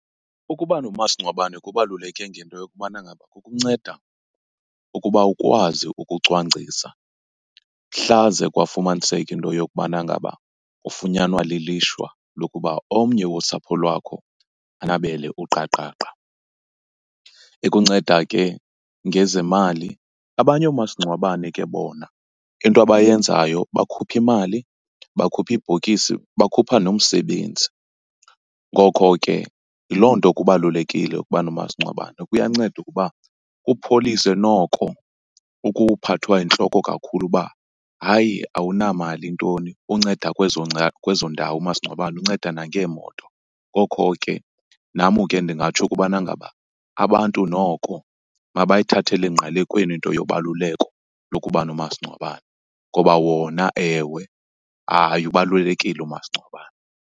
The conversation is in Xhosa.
Ukuba nomasingcwabane kubaluleke ngento yokubana ngaba kukunceda ukuba ukwazi ukucwangcisa mhla ze kwafumaniseka into yokubana ngaba ufunyanwa lilishwa lokuba omnye wosapho lwakho anabele uqaqaqa. Ikunceda ke ngezemali, abanye omasingcwabane ke bona into abayenzayo bakhupha imali, bakhuphe ibhokisi, bakhupha nomsebenzi. Ngokho ke yiloo nto kubalulekile ukuba nomasingcwabane. Kuyanceda ukuba upholise noko ukuphathwa yintloko kakhulu uba hayi awunamali ntoni. Unceda kwezo , kwezo ndawo umasingcwabane, unceda nangeemoto. Ngokho ke nam ke ndingatsho ukubana ngaba abantu noko mabayithathele engqalekweni into yobaluleko lokuba nomasingcwabane ngoba wona ewe, hayi ubalulekile umasingcwabane.